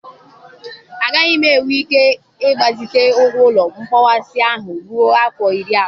Agaghị m enwe ike ịgbazite ụgwọ ụlọ nkpọkwasị ahụ ruo afọ iri abụọ.